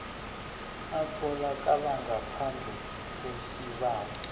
atholakala ngaphandle kwesibawo